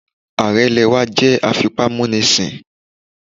Ààrẹ ilẹ̀ wá jẹ́ afipámúnisìn